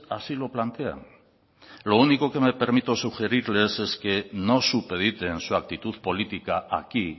así lo plantean lo único que me permito sugerirles es que no supediten su actitud política aquí